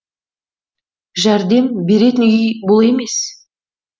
жәрдем беретін үй бұл емес